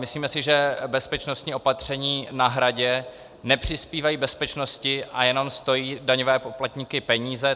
Myslíme si, že bezpečnostní opatření na Hradě nepřispívají bezpečnosti a jenom stojí daňové poplatníky peníze.